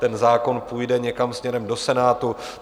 Ten zákon půjde někam směrem do Senátu.